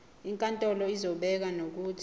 inkantolo izobeka nokuthi